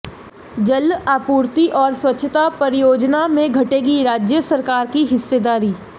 जल आपूर्ति और स्वच्छता परियोजना में घटेगी राज्य सरकार की हिस्सेदारी